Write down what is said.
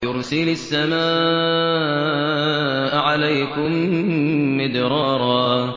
يُرْسِلِ السَّمَاءَ عَلَيْكُم مِّدْرَارًا